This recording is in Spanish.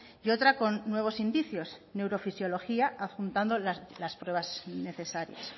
y otra con nuevos indicios neurofisiología adjuntando las pruebas necesarias